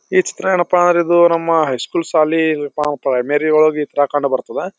ಈ ಚಿತ್ರ ಎನ್ನಪ ಅಂದ್ರಪ ಇದು ನಮ್ಮ ಹೈ ಸ್ಕೂಲ್ ಶಾಲಿ ಇದು ಪ್ರೈಮರಿ ಒಳಗ ಬರ್ತದ.